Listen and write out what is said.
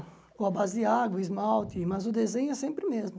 Ou a base de água, esmalte, mas o desenho é sempre o mesmo.